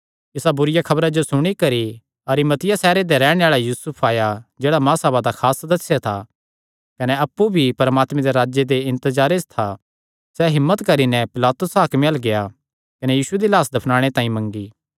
इसा बुरिआ खबरा जो सुणी करी अरिमतिया सैहरे दा रैहणे आल़ा यूसुफ आया जेह्ड़ा महासभा दा खास सदस्य था कने अप्पु भी परमात्मे दे राज्जे दे इन्तजारे च था सैह़ हिम्मत करी नैं पिलातुस हाकमे अल्ल गेआ कने यीशु दी लाह्स मंगी